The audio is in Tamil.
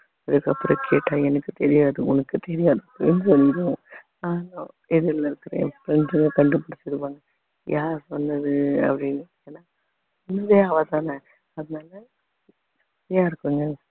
அதுக்கப்புறம் கேட்டா எனக்கு தெரியாது உனக்கு தெரியாது எதிர்ல இருக்கிற என் friends ங்க கண்டு பிடிச்சிருவாங்க யார் சொன்னது அப்படின்னு அதனால